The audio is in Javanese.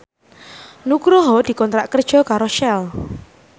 Nugroho dikontrak kerja karo Shell